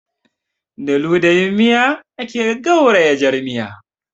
Da ludayin miya ake gauraya jar miya